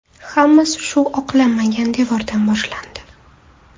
Hammasi shu oqlanmagan devordan boshlandi.